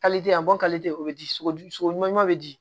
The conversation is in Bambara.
a bɔn o bɛ di sogo sogoma bɛ di